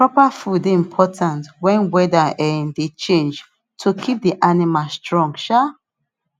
proper food dey important wen wheather um dey change to keep the animal strong um